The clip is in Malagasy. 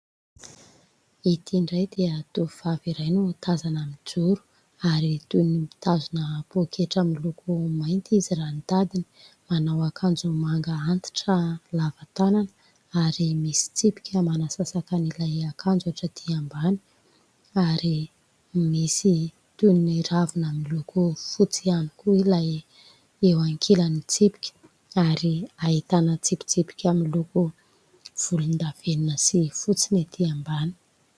Ity indray dia tovovavy iray no tazana mijoro ary toy ny mitazona pôketra miloko mainty izy raha ny tadiny. Manao akanjo manga antitra lavatanana ary misy tsipika manasasakan' ilay akanjo hatraty ambany ary misy toy ny ravina miloko fotsy ihany koa ilay eo ankilany tsipika ary ahitana tsipitsipika miloko volondavenona sy fotsiny ety ambany.